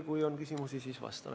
Kui on küsimusi, siis vastan.